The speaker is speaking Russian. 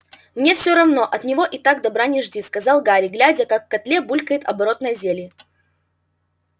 мне всё равно от него так и так добра не жди сказал гарри глядя как в котле булькает оборотное зелье